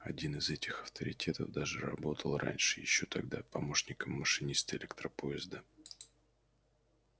один из этих авторитетов даже работал раньше ещё тогда помощником машиниста электропоезда